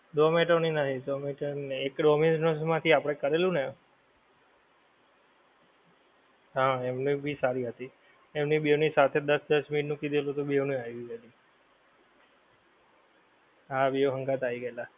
ઝોમેટો ની નહિ, ઝોમેટો ની નહિ, એક ડોમીનોઝ માંથી આપડે કરેલું ને? હા એમનાં ભી સરી આપી. એમની બેવ ની સાથે દસ-દસ minute નું કીધેલું તો બેવ ની આવી ગઈ. હા બેવ હંગાથે આવી ગ્યાતાં.